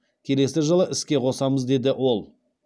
келесі жылы іске қосамыз деді ол